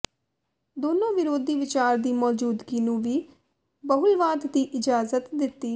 ਦੋਨੋ ਵਿਰੋਧੀ ਵਿਚਾਰ ਦੀ ਮੌਜੂਦਗੀ ਨੂੰ ਵੀ ਬਹੁਲਵਾਦ ਦੀ ਇਜਾਜ਼ਤ ਦਿੱਤੀ